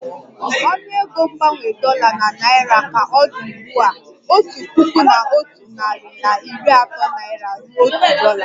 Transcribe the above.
Ọnụego mgbanwe dollar na naira ka ọ dị ugbu a otu puku na otu nari na iri ato naira ruo otu dolla